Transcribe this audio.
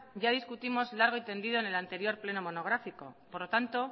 ya discutimos largo y tendido en el anterior pleno monográfico por lo tanto